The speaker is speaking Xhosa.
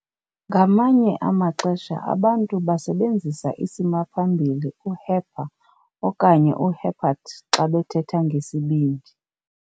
Ngamanye amaxesha abantu basebenzisa isimaphambili u"hepar- okanye u-hepat-" xa bethetha ngesibindi.